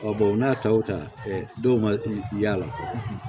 u n'a taw ta dɔw ma y'a la